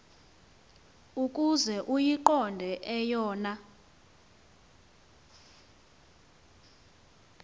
ukuze uyiqonde eyona